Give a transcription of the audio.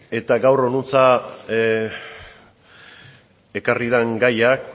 eta gaur honantz ekarri den gaia